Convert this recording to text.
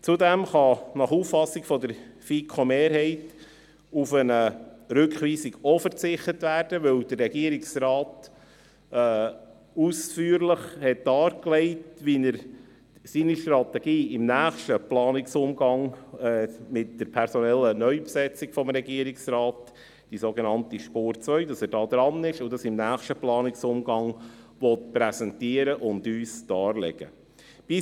Nach Auffassung der FiKo-Mehrheit kann auch auf eine Rückweisung verzichtet werden, weil der Regierungsrat ausführlich dargelegt hat, wie er seine Strategie im nächsten Planungsumgang, mit der personellen Neubesetzung des Regierungsrates, der sogenannten «Spur 2» gestalten will, dass er da dran ist und das im nächsten Planungsumgang präsentieren und darlegen will.